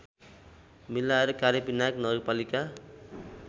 मिलाएर कार्यविनायक नगरपालिका